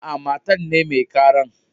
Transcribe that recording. Aa, matan ne mai karan.